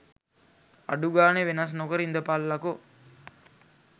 අඩුගානෙ වෙනස් නොකර ඉඳපල්ලකො.